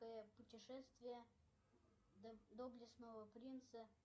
путешествие доблестного принца